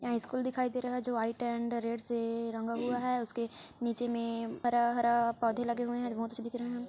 यहाँ स्कूल दिखाई दे रहा है जो व्हाइट एण्ड रेड से रंगा हुआ है उसके नीचे में हरा हरा पौधे लगे हुए है रोड्स --